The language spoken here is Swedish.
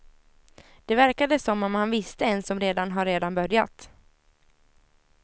Det verkade som om han visste en som redan har redan börjat.